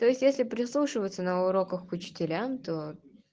то есть если прислушиваться на уроках к учителям то